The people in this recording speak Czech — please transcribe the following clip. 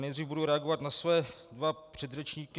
Nejdřív budu reagovat na svoje dva předřečníky.